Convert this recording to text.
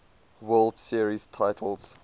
world series titles